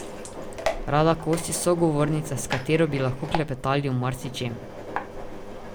Rada Kos je sogovornica, s katero bi lahko klepetali o marsičem.